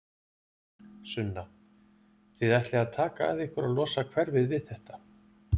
Sunna: Þið ætlið að taka að ykkur að losa hverfið við þetta?